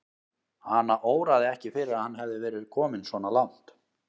Hana óraði ekki fyrir að hann hefði verið kominn svona langt.